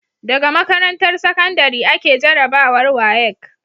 Daga makarantar sakandari ake jarabawar WAEC